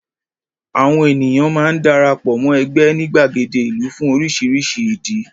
Àwọn ènìyàn máa ń dara pọ̀ mọ́ ẹgbẹ́ ní gbàgede ìlú fún oríṣiríṣi ìdí.